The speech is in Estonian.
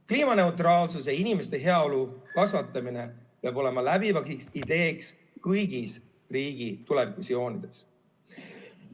Kliimaneutraalsus ja inimeste heaolu kasvatamine peab olema läbiv idee kõigis riigi tulevikuvisioonides.